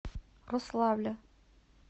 рославля